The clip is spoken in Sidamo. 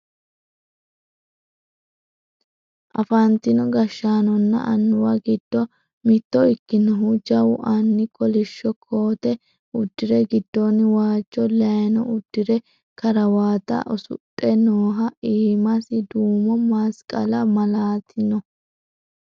afantino gashshaanonna annuwu giddo mitto ikkinohu jawu anni kolishsho koote uddire giddoonni waajjo layeeno uddire karawate usudhr nooho iimasi duumu masqali malaati no